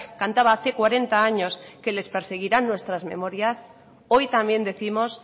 cantaba hace cuarenta años que les perseguirán nuestras memorias hoy también décimos